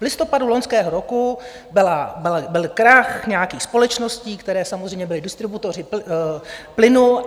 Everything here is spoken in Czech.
V listopadu loňského roku byl krach nějakých společností, které samozřejmě byly distributory plynu.